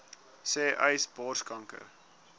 sê uys borskanker